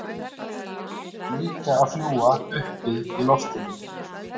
En líka að fljúga uppi í loftinu.